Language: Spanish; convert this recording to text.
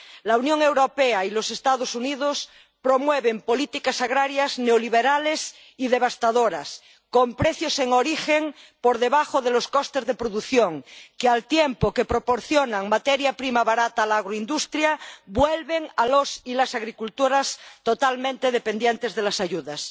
La Unión Europea y los Estados Unidos promueven políticas agrarias neoliberales y devastadoras, con precios en origen por debajo de los costes de producción, que, al tiempo que proporcionan materia prima barata a la agroindustria, vuelven a los y las agricultoras totalmente dependientes de las ayudas.